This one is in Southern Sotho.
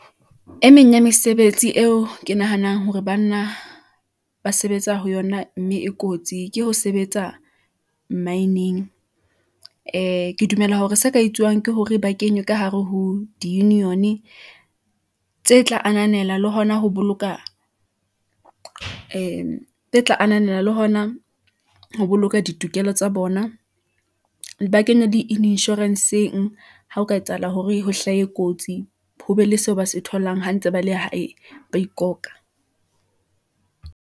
E meng ya mesebetsi eo ke nahanang hore banna ba sebetsa ho yona, mme e kotsi ke ho sebetsa maineng , ee, ke dumela hore se ka etsuwang ke hore ba kenywe ka hare ho di-union-e tse tla ananela le hona ho boloka ditokelo tsa bona . Ba kenya di-insurance-eng , ha o ka etsahala hore ho hlahe kotsi , ho be le seo ba se tholang ha ntse ba le hae , ba ikoka.